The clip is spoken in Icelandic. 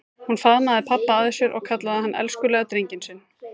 Hún faðmaði pabba að sér og kallaði hann elskulega drenginn sinn.